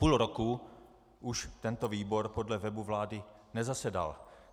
Půl roku už tento výbor podle webu vlády nezasedal.